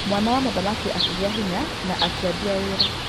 Mwana wa mũthamaki akĩgiĩ hinya na akĩambia wĩra.